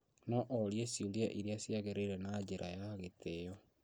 No orie ciũria iria ciagĩrĩire na njĩra ya gĩtĩĩo